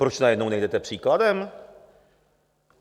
Proč najednou nejdete příkladem?